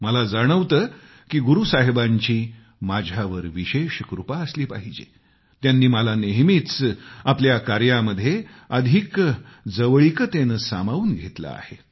मला जाणवतं की गुरू साहिबांची माझ्यावर विशेष कृपा असली पाहिजे त्यांनी मला नेहमीच आपल्या कार्यांमध्ये अधिक जवळिकीने सामावून घेतलंय